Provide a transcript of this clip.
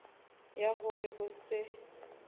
ya ho re o se